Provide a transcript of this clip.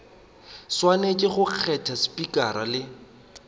swanetše go kgetha spikara le